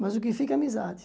Mas o que fica é a amizade.